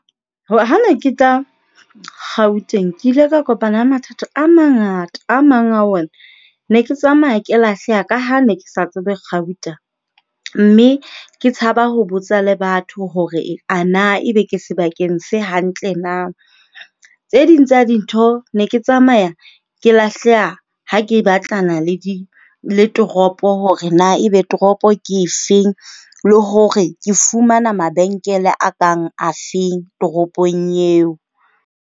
Ha ne ke tla Gauteng, ke ile ka kopana le mathata a mangata. A mang a ona ne ke tsamaya ke lahleha ka ha ne ke sa tsebe gauta mme ke tshaba ho botsa le batho hore ana ebe ke sebakeng se hantle na. Tse ding tsa dintho ne ke tsamaya ke lahleha ha ke batlana le le toropo hore na ebe toropo ke efeng le hore ke fumana mabenkele a kang afeng toropong eo.